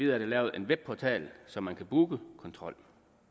er der lavet en webportal så man kan booke kontrol